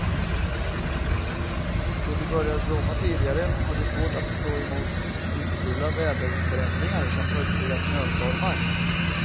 Då de börjar blomma tidigare, har de svårt att stå emot nyckfulla väderförändringar som plötsliga snöstormar.